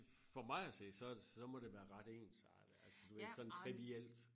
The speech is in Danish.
For mig at se så så må det være ret ensartet altså du ved sådan trivielt